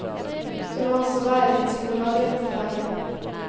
Du må også være litt psykolog i dette faget.